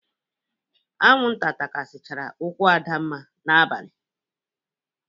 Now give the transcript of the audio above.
Aṅụnta takasịchara ụkwụ Adamma n'abalị.